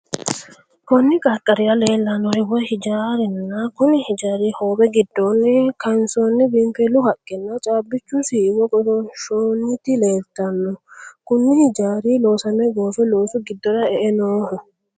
Konni qarqarira leelanori woya hijaarinna konni hijaari hoowe gidoonni kaansanni biinfilu haqenna caabichu siiwo goshoonshoonnite leeltano. Kunni hijaari loosame goofe loosu gidora e'e Nooho.